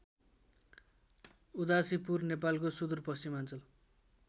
उदासीपुर नेपालको सुदूरपश्चिमाञ्चल